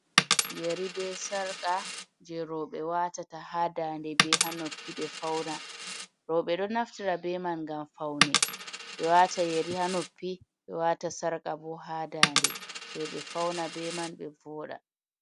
Yeri be sarqa je roɓe watata hadande be hanoppi ɓe fauna. roɓe ɗon naftira beman ngam faune ɓe wata yari hanoppi, ɓe wata sarqa bo hadande toɓe fauna be man ɓe voɗa.